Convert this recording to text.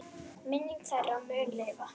Minning þeirra mun lifa.